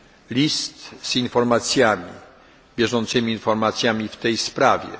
mnie list z bieżącymi informacjami w tej sprawie.